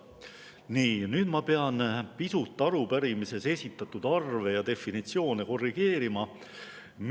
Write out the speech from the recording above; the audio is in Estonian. Nii, nüüd ma pean pisut arupärimises esitatud arve ja definitsioone korrigeerima.